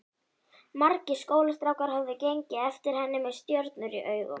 Margir skólastrákar höfðu gengið eftir henni með stjörnur í augum.